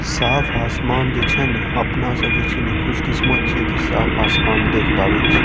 साफ़ आसमान जे छे न अपना सब जे छे ने खुशकिस्मत छे की साफ़ आसमान देख पावे छे |